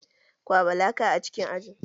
Kwaɓa laka a cikin aji!